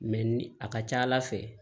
Mɛ ni a ka ca ala fɛ